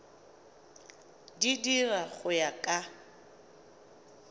di dira go ya ka